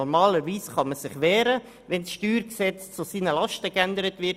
Normalerweise kann sich jemand wehren, wenn das StG zu seinen Lasten geändert wird.